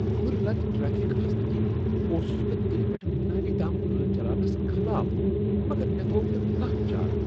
کھُرۍ لد ٹریفک آسنہٕ کنۍ اوسس بہٕ دلہ پیٹھ منالی تام گٲڑۍ چلاونس خلاف، مگر مےٚ تھووکھ نہٕ کانہہ چارہ۔